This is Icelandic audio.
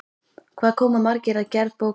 Hvað koma margir að gerð bókarinnar?